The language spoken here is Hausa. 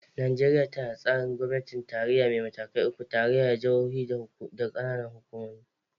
Najeriya tana da tsarin gwamnatin tarayya mai matakai uku: tarayya, jihohi, da kananan hukumomi.